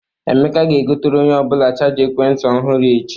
Emeka ga-egotere onye ọ bụla chaja ekwent ntị ọhụrụ echi.